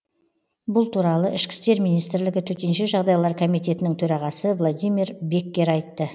бұл туралы ішкі істер министрлігі төтенше жағдайлар комитетінің төрағасы владимир беккер айтты